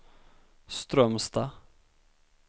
Strömstad